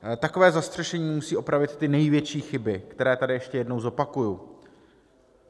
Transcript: Takové zastřešení musí opravit ty největší chyby, které tady ještě jednou zopakuji.